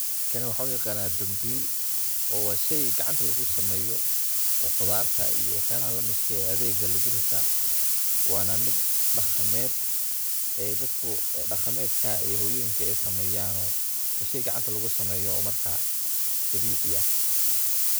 Kani waxaan uyaqaanaa dambiil, waa shey gacanta lugu sameeyo oo qudarta iyo waxyalaha lamidka ah ee adeegga lugu rita wana mid dhaqamed dadku dhaqamedka iyo hooyoyinka ee sameeyan oo. Way shey gacanta lugu sameeyan oo dabiici ah